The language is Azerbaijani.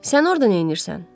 Sən orda neynirsən?